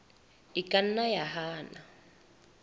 e ka nna ya hana